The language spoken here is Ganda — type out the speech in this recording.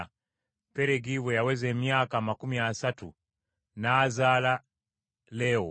Peregi bwe yaweza emyaka amakumi asatu n’azaala Leewo,